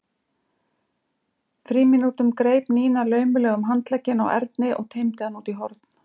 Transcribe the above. frímínútum greip Nína laumulega um handlegginn á Erni og teymdi hann út í horn.